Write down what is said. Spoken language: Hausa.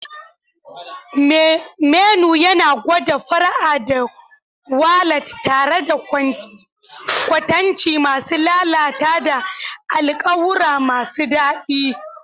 Menu yana gwada fara'a da walat tare da kwatanci masu lalata da alƙawura masu daɗi.